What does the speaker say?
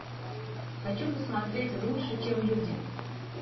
хочу посмотреть лучше чем люди